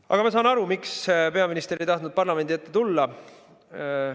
Aga ma saan aru, miks peaminister ei tahtnud parlamendi ette tulla.